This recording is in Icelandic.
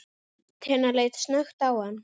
Tinna leit snöggt á hann.